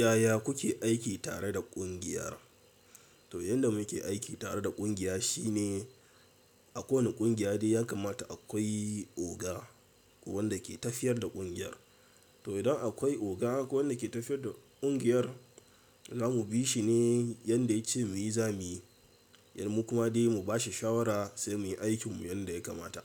Yaya kuke aiki tare da ƙungiyar? To, yadda muke aiki tare da ƙungiya shine a kowane ƙungiya dai yakamata akwai oga wanda ke tafiyar da ƙungiyar. To idan akwai oga ko wanda ke tafiyar da ƙungiyar, zamu bi shi ne yanda ya ce muyi zamuyi, mu kuma dai mu bashi shawara sai muyi aikinmu yanda ya kamata.